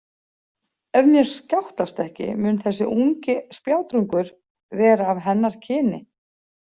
Ef mér skjátlast ekki mun þessi ungi spjátrungur vera af hennar kyni.